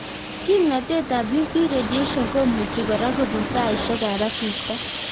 Kimnatetab uv radiation komuchi kora kobun taishekab asista